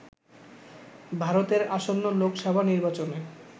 ভারতের আসন্ন লোকসভা নির্বাচনে